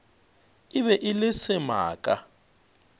e be e le semaka